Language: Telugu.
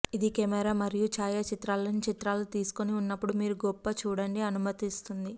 ఇది కెమెరా మరియు ఛాయాచిత్రాలను చిత్రాలు తీసుకొని ఉన్నప్పుడు మీరు గొప్ప చూడండి అనుమతిస్తుంది